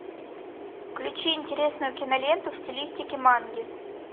включи интересную киноленту в стилистике манги